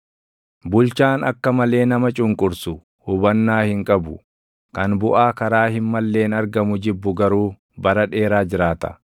Bulchaan akka malee nama cunqursu hubannaa hin qabu; kan buʼaa karaa hin malleen argamu jibbu garuu bara dheeraa jiraata.